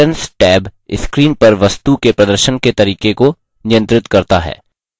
entrance tab screen पर वस्तु के प्रदर्शन के तरीके को नियंत्रित करता है